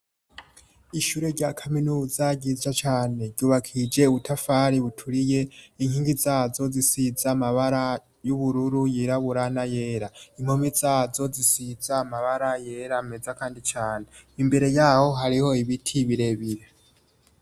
Ishure rya kaminuza ryiza cyane ryubakije ubutafari buturiye inkingi zazo zisiza amabara y'ubururu yiraburana yera impomi zazo zisiza amabara yera meza kandi cyane imbere yaho hariho ibiti birebire.